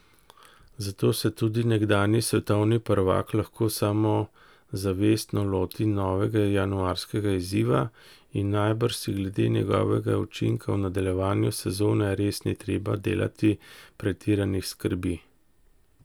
Zato se tudi nekdanji svetovni prvak lahko samozavestno loti novega januarskega izziva in najbrž si glede njegovega učinka v nadaljevanju sezone res ni treba delati pretiranih skrbi.